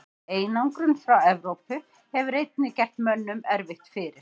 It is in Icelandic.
Einangrun frá Evrópu hefur einnig gert mönnum erfitt fyrir.